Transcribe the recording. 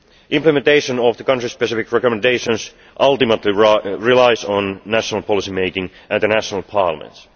Implementation of the country specific recommendations ultimately relies on national policy making at the national parliaments.